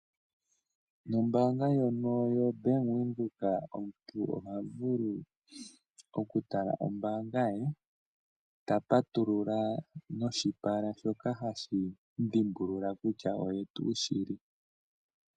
Ombaanga ndjono woBank Windhoek omuntu oha vulu oku tala ombaanga ye, ta patulula noshipala shoka hashi mu dhimbulula kutya oye tuu shili.